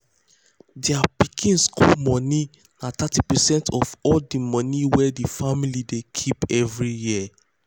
thier pikin school money na thirty percent of all the money wey um the um family dey keep um every year.